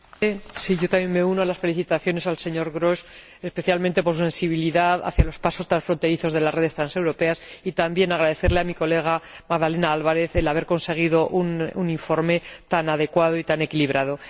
Señor Presidente, me uno a las felicitaciones al señor Grosch, especialmente por su sensibilidad hacia los pasos transfronterizos de las redes transeuropeas, y también quiero agradecerle a mi colega, Magdalena Álvarez, el haber conseguido un informe tan adecuado y tan equilibrado.